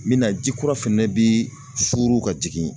Min na ji kura fɛnɛ bi suuru ka jigin.